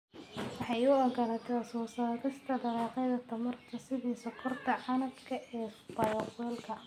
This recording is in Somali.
Waxay u ogolaataa soo saarista dalagyada tamarta sida sonkorta canabka ee bayofuelka.